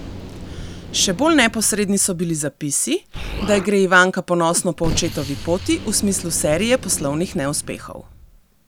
Še bolj neposredni so bili zapisi, da gre Ivanka ponosno po očetovi poti v smislu serije poslovnih neuspehov.